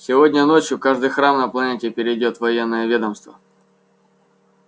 сегодня ночью каждый храм на планете перейдёт в военное ведомство